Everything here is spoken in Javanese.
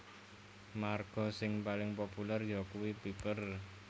Marga sing paling populèr yakuwi Piper